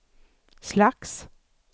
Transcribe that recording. slags